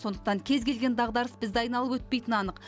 сондықтан кез келген дағдарыс бізді айналып өтпейтіні анық